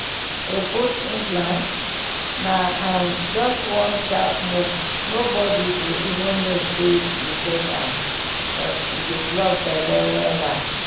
to put implant? na um just one sharp move nobody go even know say you get am but e dey block belle wella!